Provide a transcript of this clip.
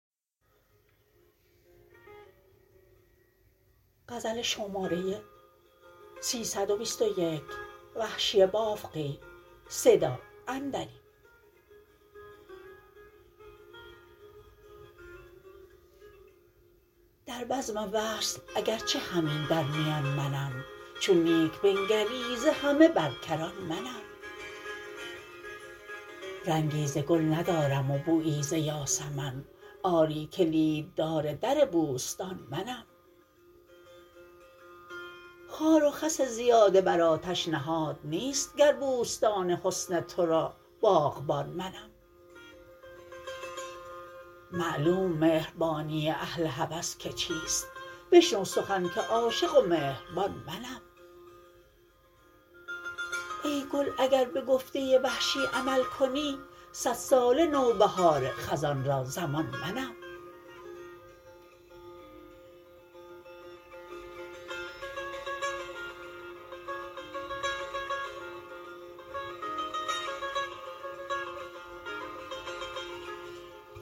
در بزم وصل اگر چه همین در میان منم چون نیک بنگری ز همه بر کران منم رنگی ز گل ندارم و بویی ز یاسمن آری کلیددار در بوستان منم خار وخس زیاده بر آتش نهاد نیست گر بوستان حسن ترا باغبان منم معلوم مهربانی اهل هوس که چیست بشنو سخن که عاشقم و مهربان منم ای گل اگر به گفته وحشی عمل کنی سد ساله نو بهار خزان را ضمان منم